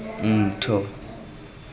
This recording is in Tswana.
ntho